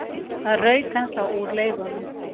Það rauk ennþá úr leifunum.